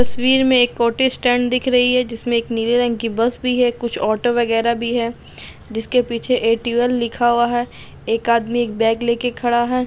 तस्वीर में एक ऑटो स्टैंड दिख रही है जिसमें एक नीले रंग की बस भी है कुछ ऑटो वगैरह भी है जिसके पीछे ए. टी. यू। एल लिखा हुआ है एक आदमी एक बैग लेके खड़ा हैं।